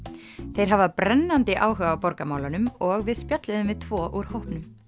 þeir hafa brennandi áhuga á borgarmálunum og við spjölluðum við tvo úr hópnum